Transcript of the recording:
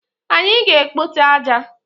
Anyị ga-ekpote aja.